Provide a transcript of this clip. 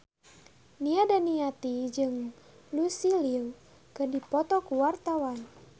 Nia Daniati jeung Lucy Liu keur dipoto ku wartawan